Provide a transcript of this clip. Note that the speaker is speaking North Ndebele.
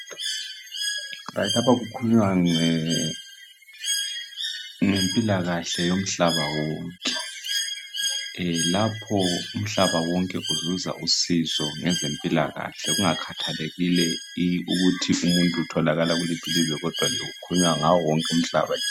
Lapha kukhukunywa ngempilakahle yomhlaba wonke. Lapho umhlaba wonke uzuza usizo ngezempilakahle. Kungakhathalekile ukuthi umuntu utholakala kuliphi ilizwe, kodwa kukhulunywa ngawo wonke umhlaba nje.